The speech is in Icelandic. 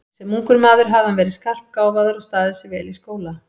Sem ungur maður hafði hann verið skarpgáfaður og staðið sig vel í skóla.